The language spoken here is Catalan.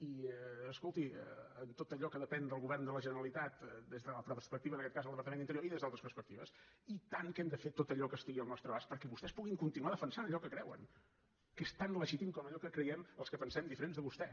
i escolti en tot allò que depèn del govern de la generalitat des de la perspectiva en aquest cas del departament d’interior i des d’altres perspectives i tant que hem de fer tot allò que estigui al nostre abast perquè vostès puguin continuar defensant allò que creuen que és tan legítim com allò que creiem els que pensem diferent de vostè